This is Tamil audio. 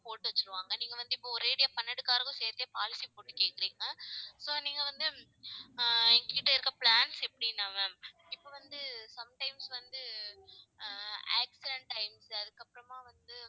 போட்டு வச்சிருவாங்க நீங்க வந்து இப்ப ஒரேடியா பன்னெண்டு car க்கும் சேர்த்தே policy போட்டு கேக்கறீங்க. so நீங்க வந்து ஆஹ் எங்ககிட்ட இருக்க plans எப்படின்னா ma'am இப்ப வந்து sometimes வந்து accident times அதுக்கு அப்புறமா வந்து